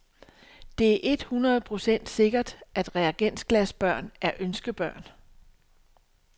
Det er et hundrede procent sikkert, at reagensglasbørn er ønskebørn.